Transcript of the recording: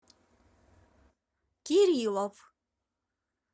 кириллов